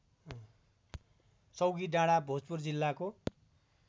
चौकीडाँडा भोजपुर जिल्लाको